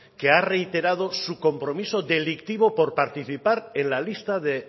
que ha reiterado su compromiso delictivo por participar en la lista de